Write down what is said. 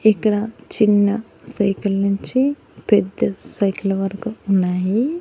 ఇక్కడ చిన్న సైకిల్ నుంచి పెద్ద సైకిల్ వరకు ఉన్నాయి.